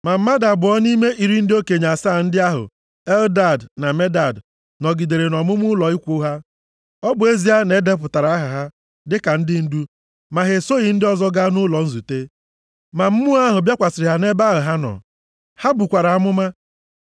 Ma mmadụ abụọ nʼime iri ndị okenye asaa ndị ahụ, Eldad na Medad nọgidere nʼọmụma ụlọ ikwu ha. Ọ bụ ezie na e depụtara aha ha dịka ndị ndu, ma ha esoghị ndị ọzọ gaa nʼụlọ nzute. Ma Mmụọ ahụ bịakwasịrị ha nʼebe ahụ ha nọ. Ha bukwara amụma.